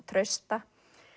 Trausta